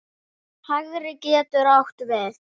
Hægri getur átt við